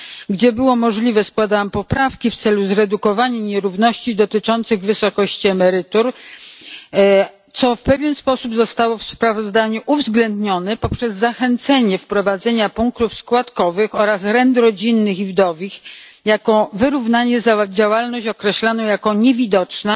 Gdzie było to możliwe, składałam poprawki w celu zredukowania nierówności w wysokości emerytur, co w pewien sposób zostało w sprawozdaniu uwzględnione poprzez zachęcanie do wprowadzenia punktów składkowych oraz rent rodzinnych i wdowich jako wyrównania za określaną jako niewidoczna